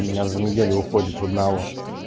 у меня за неделю уходит в одного